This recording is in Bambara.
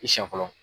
I siɲɛ fɔlɔ